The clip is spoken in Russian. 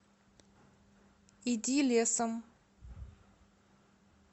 иди лесом